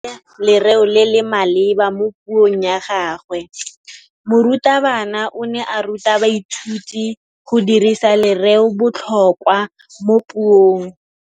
O dirisitse lerêo le le maleba mo puông ya gagwe. Morutabana o ne a ruta baithuti go dirisa lêrêôbotlhôkwa mo puong.